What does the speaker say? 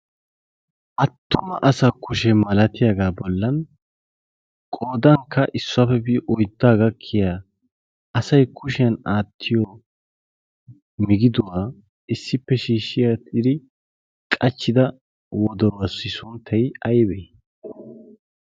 Attuma asa kushee malatiyaagaa bollan qodankka issuwaapebiidi oyddaa gakkiya asai kushiyan aattiyo migiduwaa issippe shiishshiya tiri qachchida wodoruassi sunttay aybee?